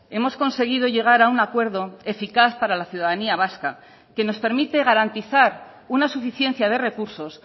hemos conseguido llegar a un acuerdo eficaz para la ciudadanía vasca que nos permite garantizar una suficiencia de recursos